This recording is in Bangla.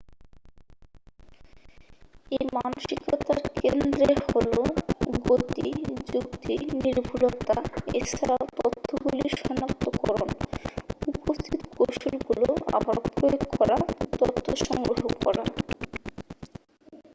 এই মানসিকতার কেন্দ্রে হল গতি যুক্তি নির্ভুলতা এছাড়াও তথ্যগুলির সনাক্তকরন উপস্থিত কৌশলগুলো আবার প্রয়োগ করা তথ্য সংগ্রহ করা